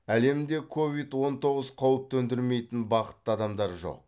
әлемде ковид он тоғыз қауіп төндірмейтін бақытты адамдар жоқ